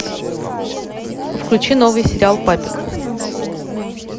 включи новый сериал папик